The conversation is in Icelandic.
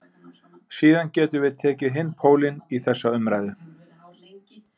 Síðan getum við tekið hinn pólinn í þessa umræðu.